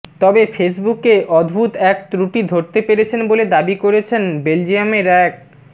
তবে ফেসবুকে অদ্ভুত এক ত্রুটি ধরতে পেরেছেন বলে দাবি করেছেন বেলজিয়ামের এক